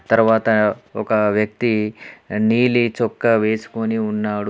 తర్వాత ఒక వ్యక్తి అహ్ నీలి చొక్కా వేసుకొని ఉన్నాడు.